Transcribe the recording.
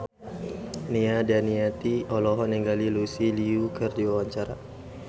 Nia Daniati olohok ningali Lucy Liu keur diwawancara